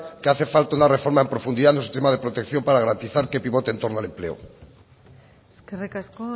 que hace falta una reforma en profundidad en los sistemas de protección para garantizar que pivote entorno al empleo eskerrik asko